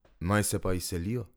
Naj se pa izselijo.